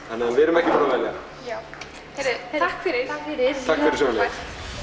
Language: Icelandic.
þannig að við erum ekki búin að velja takk fyrir takk fyrir takk fyrir sömuleiðis